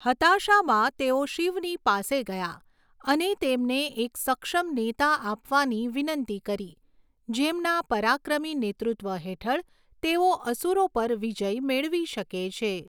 હતાશામાં, તેઓ શિવની પાસે ગયા અને તેમને એક સક્ષમ નેતા આપવાની વિનંતી કરી જેમના પરાક્રમી નેતૃત્વ હેઠળ તેઓ અસુરો પર વિજય મેળવી શકે છે.